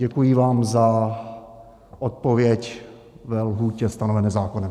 Děkuji vám za odpověď ve lhůtě stanovené zákonem.